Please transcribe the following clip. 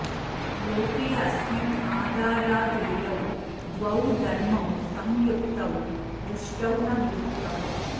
लोकेऽस्मिन् आधाराधेयौ द्वौ धर्मौ संयुक्तौ दृष्टौ न वियुक्तौ